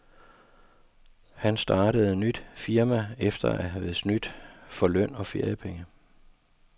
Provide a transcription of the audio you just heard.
Han startede nyt firma efter at have snydt for løn og feriepenge.